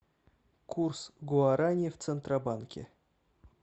курс гуарани в центробанке